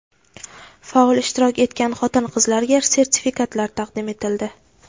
faol ishtirok etgan xotin-qizlarga sertifikatlar taqdim etildi.